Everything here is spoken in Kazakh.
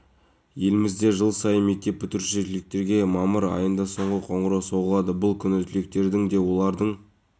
талдықорғанның тұрғындары мен қонақтары жинақтаушы тұрғын үй салымын ресімдеуді тез және ыңғайлы қажетті анықтаманы алуды кәсіпкерлікті